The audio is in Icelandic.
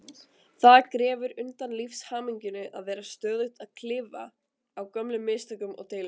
Það grefur undan lífshamingjunni að vera stöðugt að klifa á gömlum mistökum og deilum.